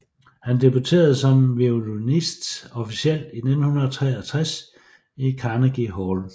Han debuterede som violinist officielt i 1963 i Carnegie Hall